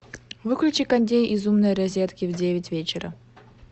выключи кондей из умной розетки в девять вечера